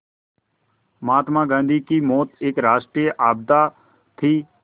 महात्मा गांधी की मौत एक राष्ट्रीय आपदा थी